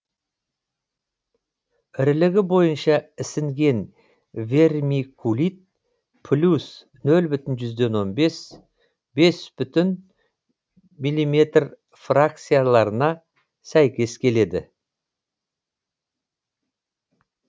ірілігі бойынша ісінген вермикулит плюс нөл бүтін жүзден он бес бес бүтін миллиметр фракцияларына сәйкес келеді